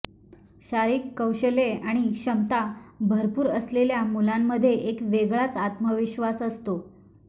शारीरिक कौशल्ये आणि क्षमता भरपूर असलेल्या मुलांमध्ये एक वेगळाच आत्मविश्वास असतो